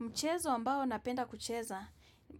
Mchezo ambao napenda kucheza